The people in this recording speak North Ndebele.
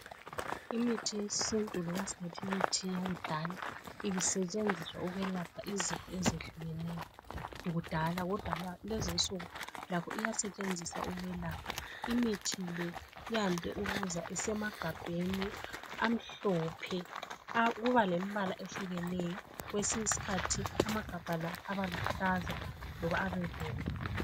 Imithi yesintu loba sithi imithi yakudala ibisetshenziswa ukwelapha izifo ezehlukeneyo kudala ,kodwa kulezinsuku lakho iyasetshenziswa ukwelapha. Imithi le yande ukuza isemagabheni amhlophe. Kuba lemibala ehlukeneyo kwesinye isikhathi amagabha la abaluhlaza kumbe abebomvu.